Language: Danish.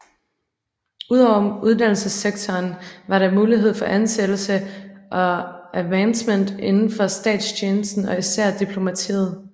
Ud over uddannelsessektoren var der muligheder for ansættelse og avancement inden for statstjenesten og især diplomatiet